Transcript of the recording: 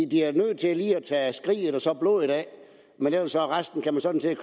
de er nødt til lige at tage skriget og blodet af men resten kan man sådan set